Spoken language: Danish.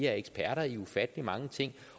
er eksperter i ufattelig mange ting